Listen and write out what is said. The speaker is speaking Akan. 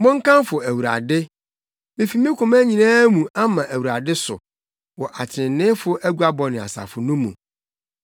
Monkamfo Awurade! Mefi me koma nyinaa mu ama Awurade so wɔ atreneefo aguabɔ ne asafo no mu.